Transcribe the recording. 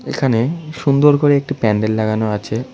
এখানে সুন্দর করে একটি প্যান্ডেল লাগানো আছে।